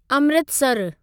अमृतसरु